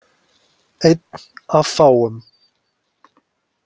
Einn af fáum.